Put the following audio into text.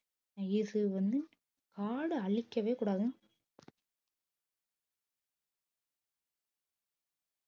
காடை அழிக்கவே கூடாதுன்னு